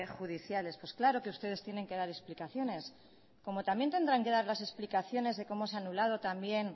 judiciales pues claro que ustedes tienen que dar explicaciones como también tendrán que dar las explicaciones de cómo se ha anulado también